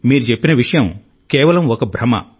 మీరు చెప్పిన విషయం కేవలం ఒక భ్రమ